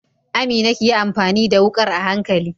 Amina kiyi amfani da wukar a hankali.